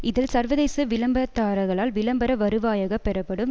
இதில் சர்வதேச விளம்பரதாரர்களால் விளம்பர வருவாயாக பெறப்படும்